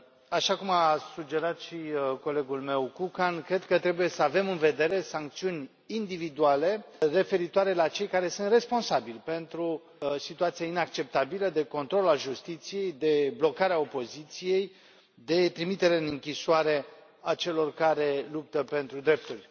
Așa cum a sugerat și colegul meu Kukan, cred că trebuie să avem în vedere sancțiuni individuale referitoare la cei care sunt responsabili pentru o situație inacceptabilă, de control al justiției, de blocare a opoziției, de trimitere în închisoare a celor care luptă pentru drepturi.